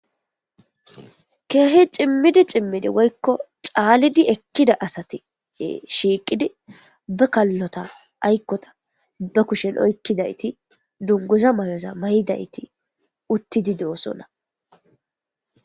Keeh cimid cimid woyko calid ekida asat shiqid be kalota aykoya be kushen oykidayt dunguza mayota mayid utid de'osona